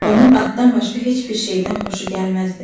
Onun atdan başqa heç bir şeydən xoşu gəlməzdi.